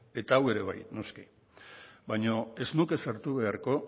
eta hau ere bai noski baina ez nuke sartu beharko